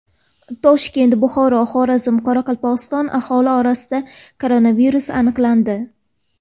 Toshkent, Buxoro, Xorazm va Qoraqalpog‘istonda aholi orasida koronavirus aniqlandi.